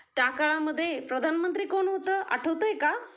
त्या काळामध्ये प्रधानमंत्री कोण होत आठवतंय का?